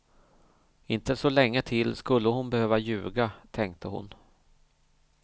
Inte så länge till skulle hon behöva ljuga, tänkte hon.